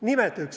Nimeta üks!